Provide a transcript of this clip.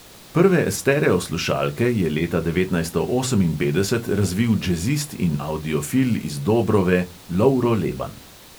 Prve stereoslušalke je leta devetnajststo oseminpetdeset razvil džezist in avdiofil iz dobrove lovro leban.